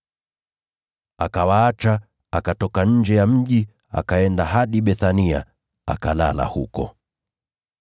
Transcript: Akawaacha, akatoka nje ya mji, akaenda hadi Bethania, akalala huko.